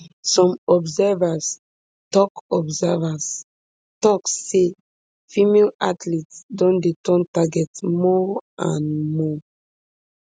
some observers tok observers tok say female athletes don dey turn target more and more